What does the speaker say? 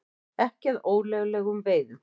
Ekki að ólöglegum veiðum